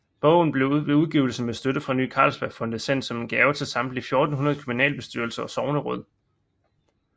Bogen blev ved udgivelsen med støtte fra Ny Carlsbergfondet sendt som gave til samtlige 1400 kommunalbestyrelser og sogneråd